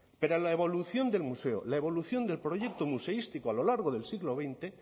pero la evolución del museo la evolución del proyecto museístico a lo largo del siglo veinte